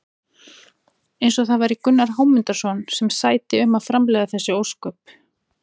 Eins og það væri Gunnar Hámundarson sem sæti um að framleiða þessi ósköp!